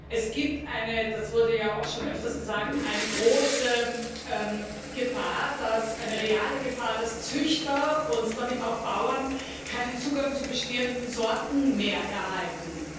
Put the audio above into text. Es gibt das wurde ja auch schon öfters gesagt eine große Gefahr, eine reale Gefahr, dass Züchter und damit auch Bauern keinen Zugang zu bestehenden Sorten mehr erhalten.